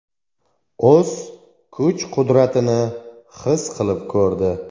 O‘z kuch-qudratini his qilib ko‘rdi.